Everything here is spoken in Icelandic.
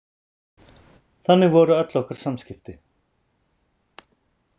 Þannig voru öll okkar samskipti.